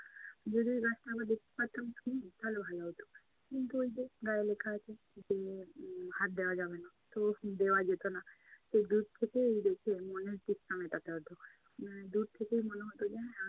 যদি ওই গাছটা আমরা দেখতে পারতাম ফুল তাহলে ভালো হতো। কিন্তু ওই গায়ে লেখা আছে, যে উম হাত দেয়া যাবে না। তো দেওয়া যেতো না। তো দূর থেকেই দেখে মনে হচ্ছে মানে দূর থেকেই মনে হতো যে না